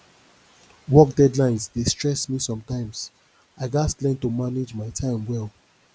work deadlines dey stress me sometimes i gats learn to manage my time well